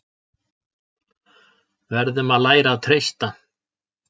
Verðum að læra að treysta